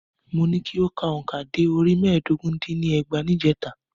Mo ní kí o ka òǹkà dé orí mẹ́ẹ̀dógún dín ní ẹgbàá ní ìjèta.